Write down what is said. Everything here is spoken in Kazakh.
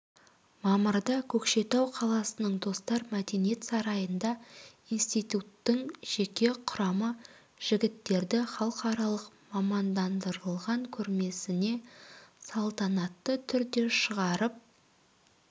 мамырда көкшетау қаласының достар мәдениет сарайында институттың жеке құрамы жігіттерді халықаралық мамандандырылған көрмесіне салтанатты түрде шығарып